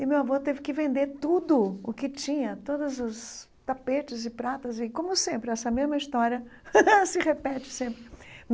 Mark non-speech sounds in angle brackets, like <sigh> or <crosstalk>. E meu avô teve que vender tudo o que tinha, todos os tapetes e pratas, e como sempre, essa mesma história <laughs> se repete sempre.